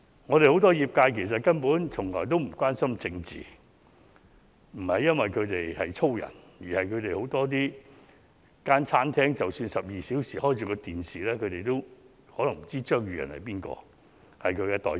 我們很多業界根本從來也不關心政治，不是因為他們從事勞動的工作，而是即使他們的餐廳12小時開啟着電視，也可能不知張宇人是業界代表。